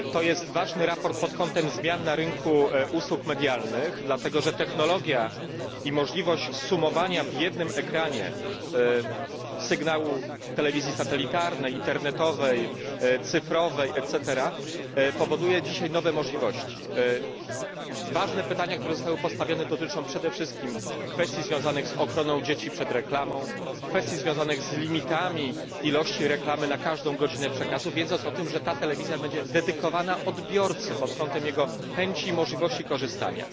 To jest ważne sprawozdanie pod kątem zmian na rynku usług medialnych, dlatego że technologia i możliwość zsumowania w jednym ekranie sygnału telewizji satelitarnej, internetowej, cyfrowej et cetera daje dzisiaj nowe możliwości. Ważne pytania, które zostały postawione, dotyczą przede wszystkim kwestii związanych z ochroną dzieci przed reklamą, kwestii związanych z limitami ilości reklamy na każdą godzinę przekazu, wiedząc o tym, że ta telewizja będzie dedykowana odbiorcy pod kątem jego preferencji i możliwości korzystania.